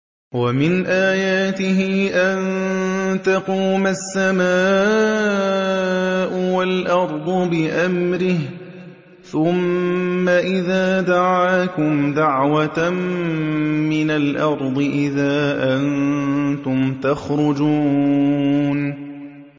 وَمِنْ آيَاتِهِ أَن تَقُومَ السَّمَاءُ وَالْأَرْضُ بِأَمْرِهِ ۚ ثُمَّ إِذَا دَعَاكُمْ دَعْوَةً مِّنَ الْأَرْضِ إِذَا أَنتُمْ تَخْرُجُونَ